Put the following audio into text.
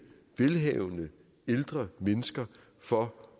velhavende ældre mennesker for